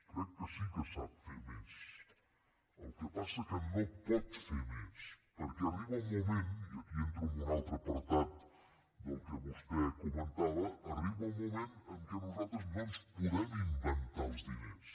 crec que sí que sap fer més el que passa que no pot fer més perquè arriba un moment i aquí entro en un altre apartat del que vostè comentava en què nosaltres no ens podem inventar els diners